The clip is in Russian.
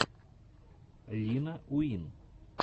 лина уин